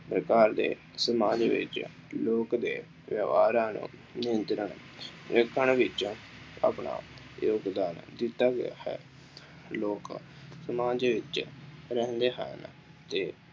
ਪ੍ਰਕਾਰ ਦੇ ਸਮਾਜ ਵਿੱਚ ਲੋਕ ਦੇ ਵਿਵਹਾਰਾਂ ਨੂੰ ਰੱਖਣ ਵਿੱਚ ਆਪਣਾ ਯੋਗਦਾਨ ਦਿੱਤਾ ਗਿਆ ਹੈ। ਲੋਕ ਸਮਾਜ ਵਿੱਚ ਰਹਿੰਦੇ ਹਨ ਅਤੇ